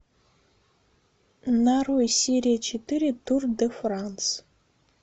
нарой серия четыре тур де франс